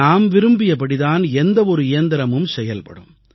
நாம் விரும்பியபடிதான் எந்த ஒரு இயந்திரமும் செயல்படும்